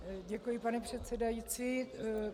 Děkuji, pane předsedající.